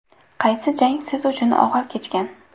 Qaysi jang siz uchun og‘ir kechgan?